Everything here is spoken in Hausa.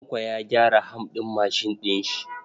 Tanko ya gyara ham ɗin mashin ɗin sa.